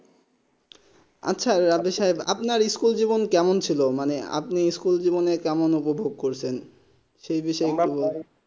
আচ্ছা আপনি সাহেব আপনার স্কুল জীবন কেমন ছিল মানে আপনি স্কুল জীবনে কেমন উপভোগ করছেন সেই বিষয়ে কি বলবেন